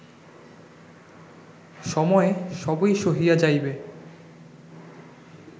সময়ে সবই সহিয়া যাইবে